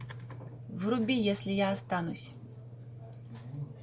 вруби если я останусь